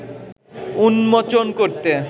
উন্মোচন করতে